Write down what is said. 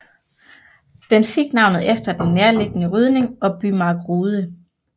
Den fik navnet efter den nærliggende rydning og bymark Rude